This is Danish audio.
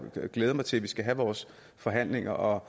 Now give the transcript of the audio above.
glæde mig til at vi skal have vores forhandlinger og